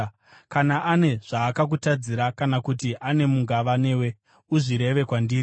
Kana ane zvaakakutadzira kana kuti ane mungava newe, uzvireve kwandiri.